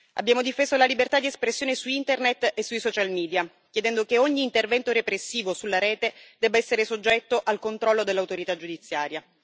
Abbiamo difeso la libertà di espressione su Internet e sui social media, chiedendo che ogni intervento repressivo sulla rete debba essere soggetto al controllo dell'autorità giudiziaria.